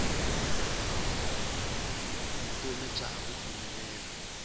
vutomi xa ha ku pfumelela